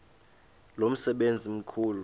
lo msebenzi mkhulu